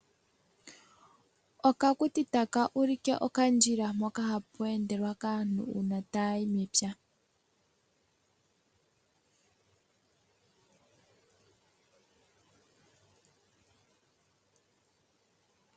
Okakuti taka ulike okandjila mpoka hapu endele aantu uuna taya yi mepya.